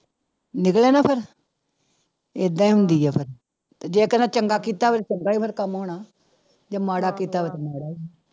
ਨਿਕਲਿਆ ਨਾ ਫਿਰ ਏਦਾਂ ਹੀ ਹੁੰਦੀ ਆ ਫਿਰ, ਜੇ ਕਿਸੇ ਦਾ ਚੰਗਾ ਕੀਤਾ ਹੋਵੇ ਚੰਗਾ ਹੀ ਫਿਰ ਕੰਮ ਹੋਣਾ, ਜੇ ਮਾੜਾ ਕੀਤਾ ਤਾਂ ਮਾੜਾ ਹੀ